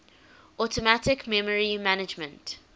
automatic memory management